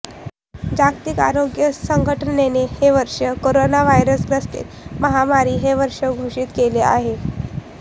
जागतिक आरोग्य संघटनेने हे वर्ष कोरोनाव्हायरस ग्रसित महामारी हे वर्ष घोषित केले आहे